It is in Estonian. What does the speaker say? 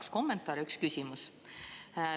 Kaks kommentaari, üks küsimus.